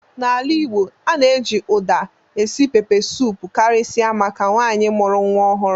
N'ala Igbo, a na-eji Uda esi pepesụpụ karịsịa maka nwaanyị mụrụ nwa ọhụrụ.